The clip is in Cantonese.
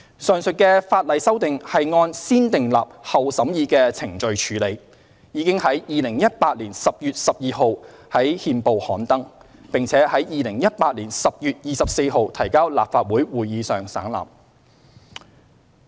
上述的法例修訂是按"先訂立後審議"的程序處理，已於2018年10月12日在憲報刊登，並於2018年10月24日提交立法會會議席上省覽。